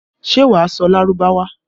Ṣé wà á sọ Lárúbáwá?